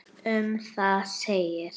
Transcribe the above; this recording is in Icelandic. Um það segir: